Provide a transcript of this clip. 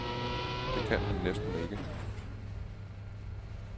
Det kan han næsten ikke.